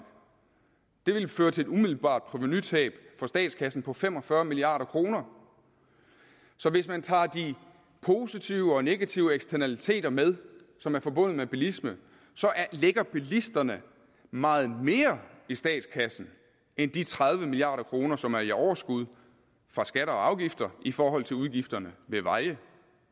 det ville føre til et umiddelbart provenutab for statskassen på fem og fyrre milliard kroner så hvis man tager de positive og negative eksternaliteter med som er forbundet med bilisme så lægger bilisterne meget mere i statskassen end de tredive milliard kroner som er i overskud fra skatter og afgifter i forhold til udgifterne ved veje